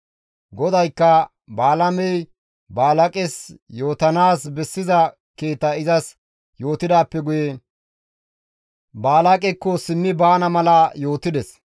GODAYKKA Balaamey Balaaqes yootanaas bessiza kiita izas yootidaappe guye Balaaqekko simmi baana mala yootides.